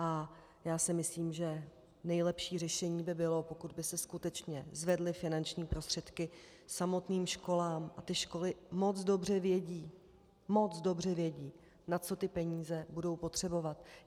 A já si myslím, že nejlepší řešení by bylo, pokud by se skutečně zvedly finanční prostředky samotným školám, a ty školy moc dobře vědí, moc dobře vědí, na co ty peníze budou potřebovat.